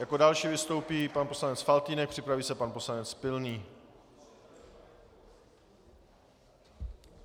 Jako další vystoupí pan poslanec Faltýnek, připraví se pan poslanec Pilný.